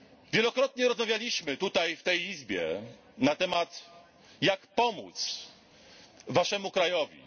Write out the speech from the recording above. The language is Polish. Wielokrotnie rozmawialiśmy tutaj w tej Izbie na temat jak pomóc Waszemu krajowi.